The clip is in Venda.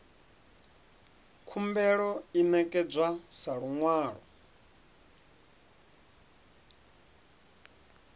khumbelo i ṋekedzwa sa luṅwalo